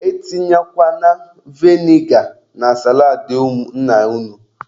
E tinyekwana veniga na saladị nna unu.